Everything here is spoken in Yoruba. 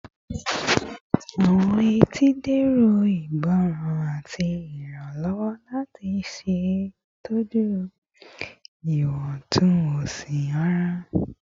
Awọn etí dẹrọ igbọran ati iranlọwọ lati ṣetọju iwọntunwọnsi ara